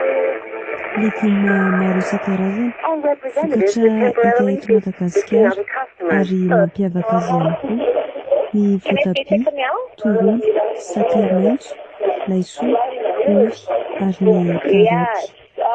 Legioma maro isan-karazany, vokatra hita eto Madagasikara ary mampiavaka azy ihany koa ny voatabia, tongolo, sakay maitso, laisoa, ovy, ary ny karaoty.